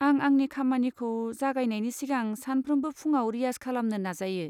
आं आंनि खामानिखौ जागायनायनि सिगां सानफ्रोमबो फुंआव रियाज खालामनो नाजायो।